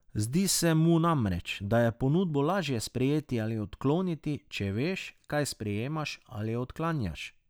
Zdi se mu namreč, da je ponudbo laže sprejeti ali odkloniti, če veš, kaj sprejemaš ali odklanjaš.